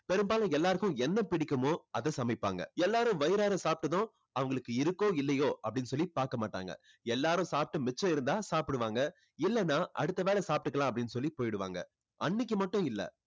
பெரும்பாலும் எல்லாருக்கும் என்ன பிடிக்குமோ அதை சமைப்பாங்க. எல்லாரும் வயிறாற சாப்பிட்டதும் அவங்களுக்கு இருக்கோ இல்லையோ அப்படின்னு சொல்லி பாக்கமாட்டாங்க. எல்லாரும் சாப்பிட்டு மிச்சம் இருந்தா சாப்பிடுவாங்க. இல்லன்னா அடுத்த வேளை சாப்பிட்டுக்கலாம் அப்படின்னு சொல்லி போயிடுவாங்க. அன்னைக்கு மட்டும் இல்ல.